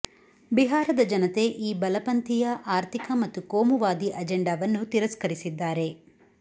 ಬಿಹಾರದ ಜನತೆ ಈ ಬಲಪಂಥೀಯ ಆರ್ಥಿಕ ಮತ್ತು ಕೋಮುವಾದಿ ಅಜೆಂಡಾವನ್ನು ತಿರಸ್ಕರಿಸಿದ್ದಾರೆ